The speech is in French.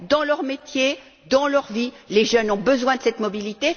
Dans leur métier, dans leur vie, les jeunes ont besoin de mobilité.